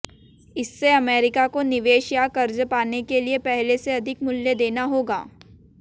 इससे अमेरिका को निवेश या कर्ज पाने के लिए पहले से अधिक मूल्य देना होगा